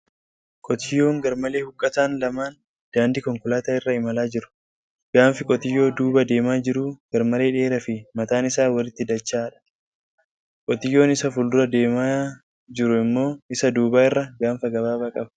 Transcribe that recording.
Qotiyyoon garmalee huuqqatan lamaan daandii konkolaataa irra imalaa jiru. Gaanfi konkolaataa duuba deemaa jiru garmalee dheeraa fi mataan isaa walitti dacha'aadha. Qotiyyoon isa fuuldura deemu immoo isa duuba irra gaanfa gabaabaa qaba.